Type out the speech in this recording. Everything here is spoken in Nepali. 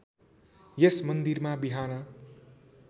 यस मन्दिरमा बिहान